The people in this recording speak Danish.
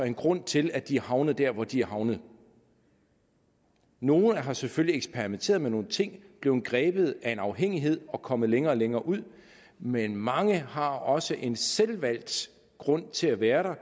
en grund til at de er havnet der hvor de er havnet nogle har selvfølgelig eksperimenteret med nogle ting blevet grebet af en afhængighed og kommet længere og længere ud men mange har også en selvvalgt grund til at være der